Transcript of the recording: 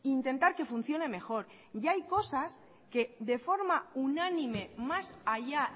y intentar que funcione mejor y hay cosas que de forma unánime más allá